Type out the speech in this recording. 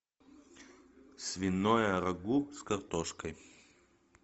свиное рагу с картошкой